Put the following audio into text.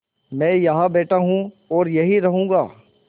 मैं यहाँ बैठा हूँ और यहीं रहूँगा